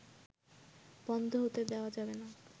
বন্ধ হতে দেয়া যাবেনা